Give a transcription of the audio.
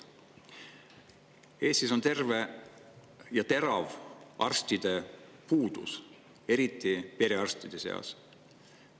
Eestis on terav arstide puudus, eriti perearstide seas.